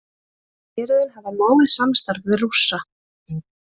Héruðin hafa náið samstarf við Rússa